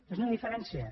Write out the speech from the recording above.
és una diferència